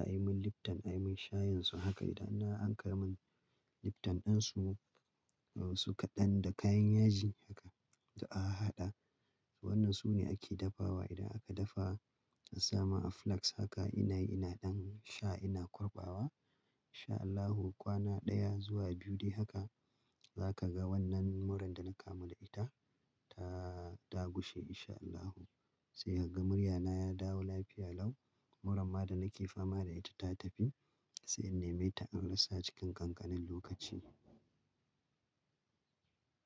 a yi mun lipton, a yi mun shayin su haka idan an akayi mun lipton ɗin su, su kaɗan da kayan yaji haka da an hada. Wannan su ne ake dafawa idan aka dafa a sama a flask haka ina ina ɗan sha ina kwarbawa. Insha Allahu kwana ɗaya zuwa biyu dai haka za ka ga wannan murran da na kamu da ita ta, ta gushe insha Allahu. Sai hakan murya na ya dawo lafiya lau. Muran ma da nake fama da ita ta tafi sai in nemi ta an rasa cikin ƙanƙanin lokaci.